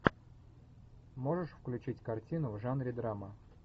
можешь включить картину в жанре драма